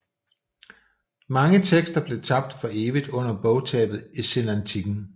Mange tekster blev tabt for evigt under bogtabet i senantikken